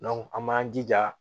an b'an jija